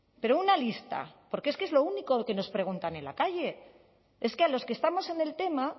pero una lista porque es que es lo único que nos preguntan en la calle es que a los que estamos en el tema